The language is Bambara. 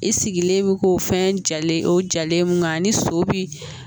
I sigilen bɛ k'o fɛn jalen o jalen nka ni so bi